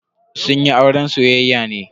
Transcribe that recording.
Sun yi auren soyayya ne.